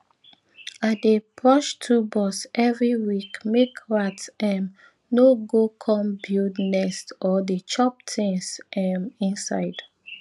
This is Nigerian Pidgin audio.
i dey brush toolbox every week make rat um no go come build nest or dey chop things um inside